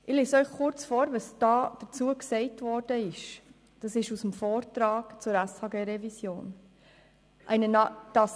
Ich lese Ihnen kurz vor, was im Vortrag zur SHG-Revision dazu geschrieben wurde: